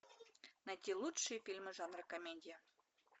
найти лучшие фильмы жанра комедия